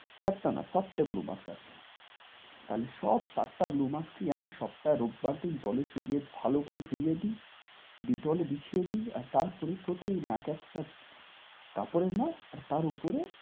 চারটা না, সাতটে blue mask আছে। কাজেই সব সাতটা blue mask কেই আমি সপ্তাহে রোববার দিন জলে চুবিয়ে ভালো করে ধুইয়ে দিই, Dettol এ বিছিয়ে দিই আর তারপরে প্রতিদিন একেকটা কাপড়ের mask আর তার উপরে,